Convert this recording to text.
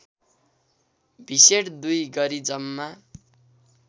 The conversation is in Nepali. भिसेट २ गरी जम्मा